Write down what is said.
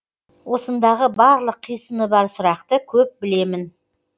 осындағы барлық қисыны бар сұрақты көп білемін